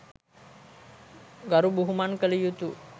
ගරු බුහුමන් කළ යුතු